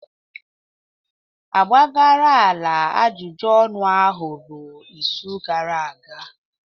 Agbagharala ajụjụ ọnụ ahụ ruo izu gara aga